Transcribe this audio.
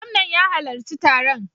Gwamnan ya halarci taron.